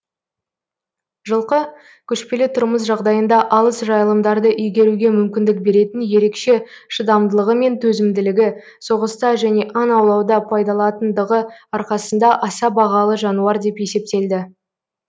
жылқы көшпелі тұрмыс жағдайында алыс жайылымдарды игеруге мүмкіндік беретін ерекше шыдамдылығы мен төзімділігі соғыста және аң аулауда пайдалатындығы арқасында аса бағалы жануар деп есептелді